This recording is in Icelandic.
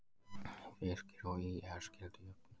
Fylkir og ÍR skildu jöfn